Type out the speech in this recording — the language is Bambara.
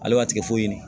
Ale b'a tigɛ foyi de ɲini